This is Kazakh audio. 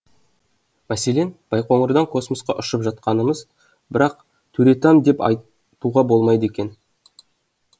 мәселен байқоңырдан космосқа ұшып жатқанымыз бірақ төретам деп айтуға болмайды екен